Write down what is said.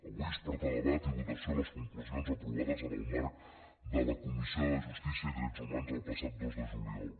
avui es porten a debat i votació les conclusions aprovades en el marc de la comissió de justícia i drets humans el passat dos de juliol